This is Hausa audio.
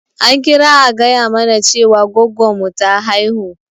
An kira a gaya mana Cewa gwaggon mu ta haihu.